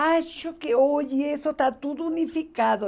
Acho que hoje isso está tudo unificado.